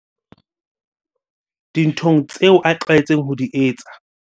dinthong tseo a tlwaetseng ho di etsa.